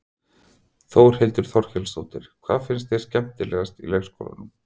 Þórhildur Þorkelsdóttir: Hvað finnst þér skemmtilegast í leikskólanum?